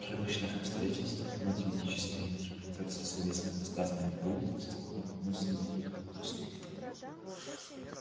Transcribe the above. при обычных обстоятельствах математическая интерпретация словесных высказываний роботов составляет одну из самых трудных отраслей